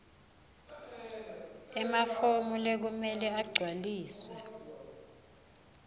emafomu lekumele agcwaliswe